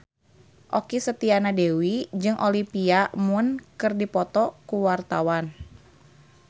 Okky Setiana Dewi jeung Olivia Munn keur dipoto ku wartawan